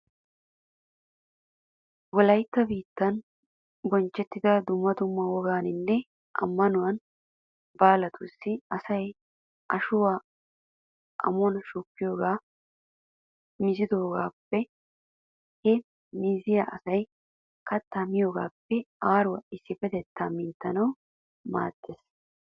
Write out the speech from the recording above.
Wolaytta biittan bonchchettiya dumma dumma wogaanne ammanuwa baalatussi asay ashuwa amuwan shukkiyogee meezetidoba. Ha meezee asay kattaa miyogaappe aaruwan issippetettaa minttanawu maaddees.